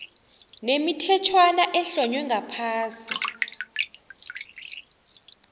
nemithetjhwana ehlonywe ngaphasi